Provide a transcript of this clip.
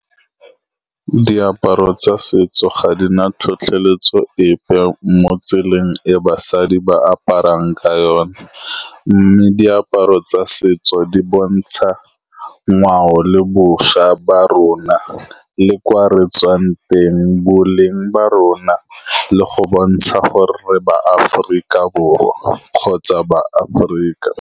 Diaparo tsa setso ga di na tlhotlheletso epe mo tseleng e basadi ba aparang ka yone. Mme diaparo tsa setso di bontsha ngwao le bošwa ba rona, le kwa re tswang teng, boleng ba rona, le go bontsha gore re ba Aforika Borwa kgotsa ba Aforika.